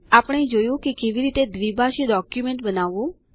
આપણે જોયું કે કેવી રીતે દ્વિભાષી ડોક્યુમેન્ટ બનાવવું